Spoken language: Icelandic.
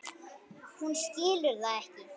Hún skilur það ekki.